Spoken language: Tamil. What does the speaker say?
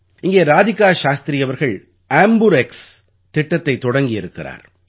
இங்கே ராதிகா சாஸ்திரி அவர்கள் ஆம்பர்க்ஸ் ஆம்புரெக்ஸ் திட்டத்தைத் தொடங்கி இருக்கிறார்